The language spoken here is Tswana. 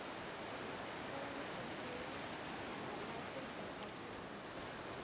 pabalesego ya mawatle ba aforika